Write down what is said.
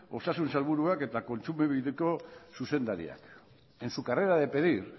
osasun sailburuak eta kontsumobideko zuzendariak en su carrera de pedir